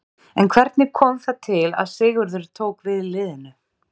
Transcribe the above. En hvernig kom það til að Sigurður tók við liðinu?